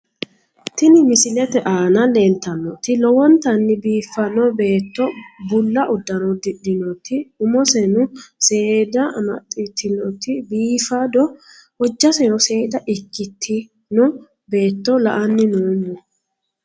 Tini misilete aana leeltannoti lowontanni biiffanno beetto bulla uddano uddidhinoti umoseno seeda amaxxitinoti biifado. hojjaseno seeda ikkitino beetto la"anni noommo